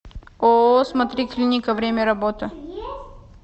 ооо смотри клиника время работы